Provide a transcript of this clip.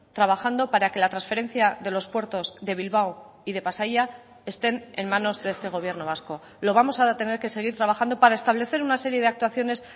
trabajando para que la transferencia de los puertos de bilbao y de pasaia estén en manos de este gobierno vasco lo vamos a tener que seguir trabajando para establecer una serie de actuaciones